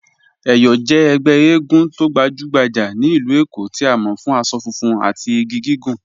Eyọ jẹ̀ ègbè ègún tó gbajùgbàjà ní ilú Èkó tí a mọ̀ fún àṣọ fùnfun àti igi gígùn